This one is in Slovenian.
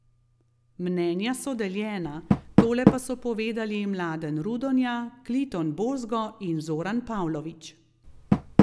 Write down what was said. Mnenja so deljena, tole pa so povedali Mladen Rudonja, Kliton Bozgo in Zoran Pavlović.